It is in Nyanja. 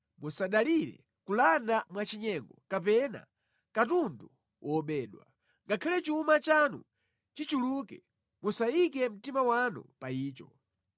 Musadalire kulanda mwachinyengo kapena katundu wobedwa; ngakhale chuma chanu chichuluke, musayike mtima wanu pa icho.